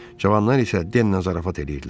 Cavanlar isə Demlə zarafat eləyirdilər.